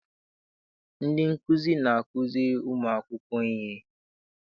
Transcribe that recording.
Ndị nkuzi na-azukiri ụmụakwụkwọ ihe.